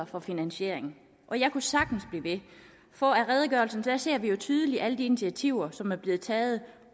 for finansiering og jeg kunne sagtens blive ved for af redegørelsen ser vi jo tydeligt alle de initiativer som er blevet taget